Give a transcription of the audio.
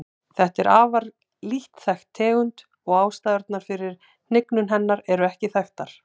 Þetta er afar lítt þekkt tegund og ástæðurnar fyrir hnignun hennar eru ekki þekktar.